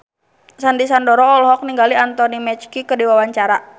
Sandy Sandoro olohok ningali Anthony Mackie keur diwawancara